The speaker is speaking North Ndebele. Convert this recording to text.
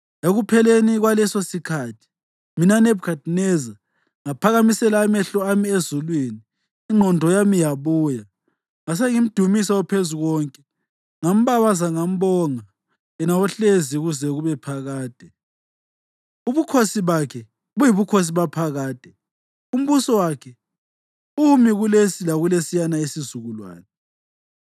Ekupheleni kwalesosikhathi, mina, Nebhukhadineza, ngaphakamisela amehlo ami ezulwini, ingqondo yami yabuya. Ngasengimdumisa oPhezukonke; ngambabaza, ngambonga yena ohlezi kuze kube phakade. Ubukhosi bakhe buyibukhosi baphakade; umbuso wakhe umi kulesi lakulesiyana isizukulwane.